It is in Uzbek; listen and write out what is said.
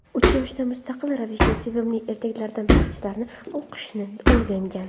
Uch yoshida mustaqil ravishda sevimli ertaklaridan parchalarni o‘qishni o‘rgangan.